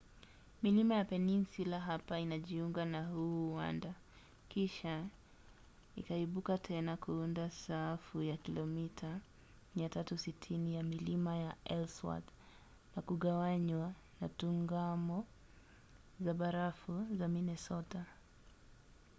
milima ya peninsula hapa inajiunga na huu uwanda kisha ikaibuka tena kuunda safu ya kilomita 360 ya milima ya ellsworth na kugawanywa na tungamo za barafu za minnesota